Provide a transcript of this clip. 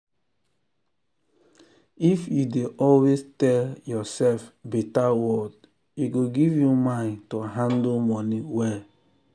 if you dey always tell yourself better word e go give you mind to handle money well.